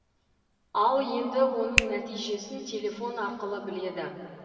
ал енді оның нәтижесін телефон арқылы біледі